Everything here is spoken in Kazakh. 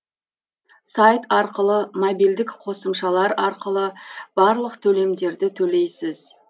сайт арқылы мобильдік қосымшалар арқылы барлық төлемдерді төлейсіз